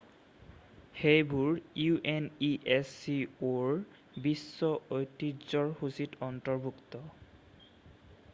সেইবোৰ unescoৰ বিশ্ব ঐতিহ্যৰ সূচীত অন্তৰ্ভুক্ত।